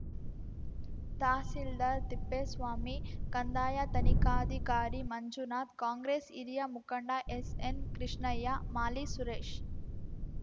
ತಹಸೀಲ್ದಾರ್ ತಿಪ್ಪೇಸ್ವಾಮಿ ಕಂದಾಯ ತನಿಖಾಧಿಕಾರಿ ಮಂಜುನಾಥ್ ಕಾಂಗ್ರೆಸ್ ಹಿರಿಯ ಮುಖಂಡ ಎಸ್ಎನ್ಕೃಷ್ಣಯ್ಯ ಮಾಲಿ ಸುರೇಶ್